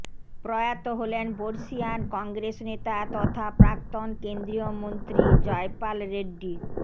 প্রয়াত হলেন বর্ষীয়ান কংগ্রেস নেতা তথা প্রাক্তন কেন্দ্রীয় মন্ত্রী জয়পাল রেড্ডি